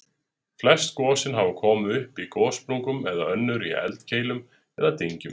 Flest gosin hafa komið upp í gossprungum en önnur í eldkeilum eða dyngjum.